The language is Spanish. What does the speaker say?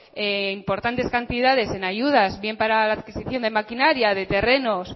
importantes cantidades en ayudas bien para la adquisición de maquinaria de terrenos